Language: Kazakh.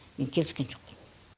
мен келіскен жоқпын